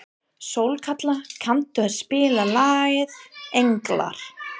Sólkatla, kanntu að spila lagið „Englar“?